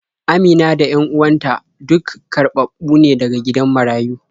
Amina da 'yan uwan ta duk karɓaɓɓu ne daga gidan marayu.